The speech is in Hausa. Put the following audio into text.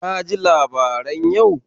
Ka ji labaran yau?